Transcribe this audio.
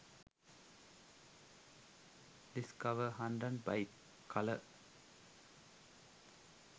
discover 100 bike colour